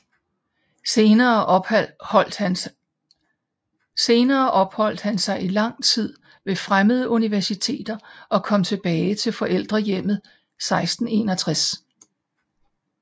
Senere opholdt han sig i lang tid ved fremmede universiteter og kom tilbage til forældrehjemmet 1661